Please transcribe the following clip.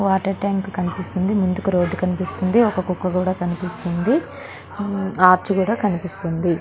Water tank కనిపిస్తుంది ఇటుకల road కనిపిస్తుంది ఒక కుక్క కూడా కనిపిస్తుంది ఒక ఆర్చ్ కనిపిస్తుంది.